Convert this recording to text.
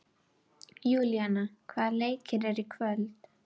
Júlíana, hvaða leikir eru í kvöld?